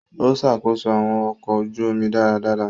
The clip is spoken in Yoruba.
O ṣakoso awọn ọkọ ojú omi dáradára.